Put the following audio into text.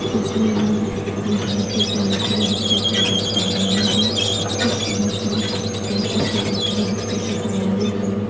तस्वीर में हम पंखे के निचले हिस्से को देख पा रहे हैं इस तरह के पंखे के निचले हिस्से को बनाने वाले। --